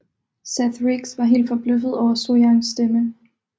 Seth Riggs var helt forbløffet over Sohyang stemme